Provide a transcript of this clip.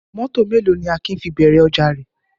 Mọ́tọ̀ mélòó ni Akin fi bẹ̀rẹ̀ ọjà rẹ̀?